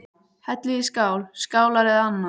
Hellið í skál, skálar eða annað.